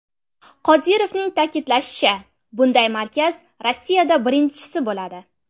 Qodirovning ta’kidlashicha, bunday markaz Rossiyada birinchisi bo‘ladi.